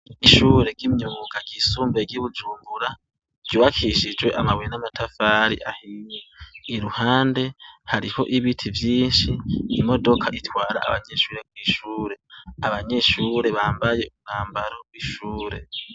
Ishure ry'imyuga ryisumbuye ry'i Bujumbura ryubakishjwe amabuye n'matafari ahiye. Iruhande, hariho ibiti vyinshi, imodoka itwara abanyeshure kw'ishure. Abanyeshure bambaye umwambaro w'ishure.